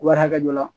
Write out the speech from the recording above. Wari hakɛ dɔ la